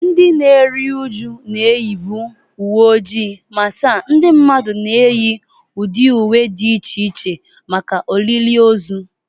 Ndị na-eru uju na-eyibu uwe ojii, ma taa ndị mmadụ na-eyi ụdị agba dị iche iche maka olili ozu